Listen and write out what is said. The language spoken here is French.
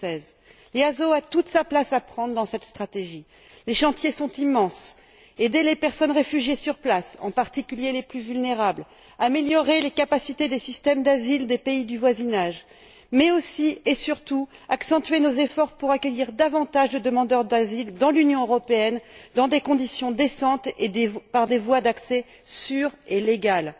2016. L'EASO a toute sa place à prendre dans cette stratégie. Les chantiers sont immenses aider les personnes réfugiées sur place en particulier les plus vulnérables améliorer les capacités des systèmes d'asile des pays du voisinage, mais aussi et surtout, accentuer nos efforts pour accueillir davantage de demandeurs d'asile dans l'Union européenne, dans des conditions décentes et par des voies d'accès sûres et légales.